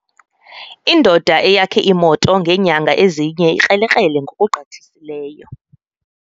Indoda eyakhe imoto ngeenyanga ezine ikrelekrele ngokugqithiseleyo.